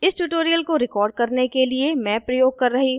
इस tutorial को record करने के लिए मैं प्रयोग कर रही हूँ :